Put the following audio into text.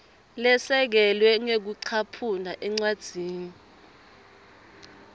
lesekelwe ngekucaphuna encwadzini